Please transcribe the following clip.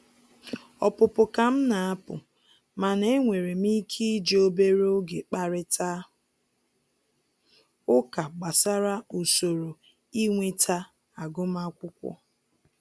Ọpụpụ ka m na-apụ, mana e nwere m ike iji obere oge kparịtaa ụka gbasara usoro inweta agụmakwụkwọ